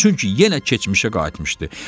Çünki yenə keçmişə qayıtmışdı.